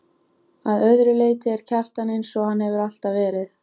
Að öðru leyti er Kjartan einsog hann hefur alltaf verið.